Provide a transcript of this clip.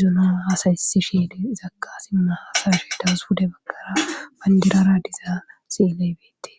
zuna haasaysi shiidi zakka sinna hasashidawus hude bakkara bandirara dizaaa siiley beete.